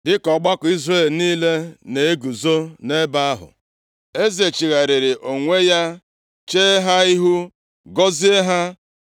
Dịka ọgbakọ Izrel niile na-eguzo nʼebe ahụ, eze chigharịrị onwe ya chee ha ihu, gọzie ha.